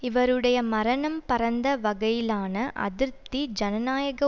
இவருடைய மரணம் பரந்த வகையிலான அதிருப்தி ஜனநாயக